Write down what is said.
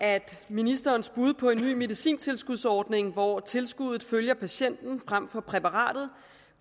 at ministerens bud på en ny medicintilskudsordning hvor tilskuddet følger patienten frem for præparatet